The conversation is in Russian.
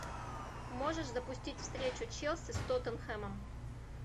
можешь запустить встречу челси с тоттенхэмом